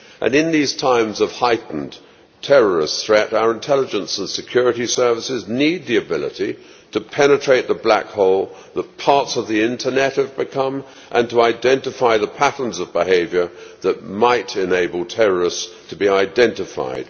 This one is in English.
In these times of heightened terrorist threat our intelligence and security services need the ability to penetrate the black hole that parts of the Internet have become and to identify the patterns of behaviour that might enable terrorists to be identified.